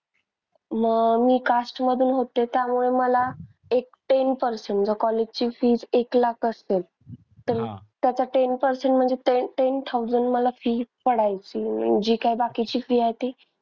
मग मी cast मधून होते त्यामुळे मला एक ten percent जर college ची fee एक लाख असतील तर त्याचा ten percent म्हणजे ten ten thousand मला fees पडायची. आणि जी काही बाकीची fee आहे ती,